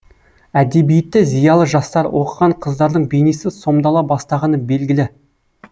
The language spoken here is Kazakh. әдебиетті зиялы жастар оқыған қыздардың бейнесі сомдала бастағаны белгілі